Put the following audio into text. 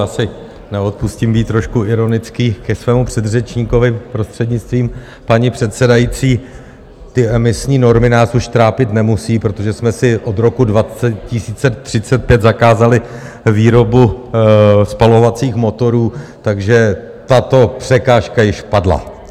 Já si neodpustím být trošku ironický ke svému předřečníkovi, prostřednictvím paní předsedající: ty emisní normy nás už trápit nemusí, protože jsme si od roku 2035 zakázali výrobu spalovacích motorů, takže tato překážka již padla.